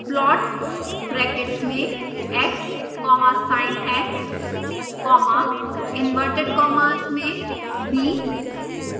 plot brackets में x comma sinx comma inside inverted commas b